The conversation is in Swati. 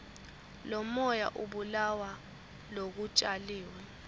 lomoya ubulala lokutjaliwe